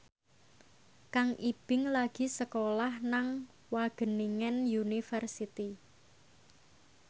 Kang Ibing lagi sekolah nang Wageningen University